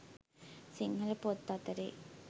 සිංහල පොත් අතරේ